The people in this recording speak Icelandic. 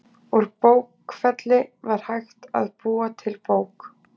úr bókfelli var hægt að búa til bók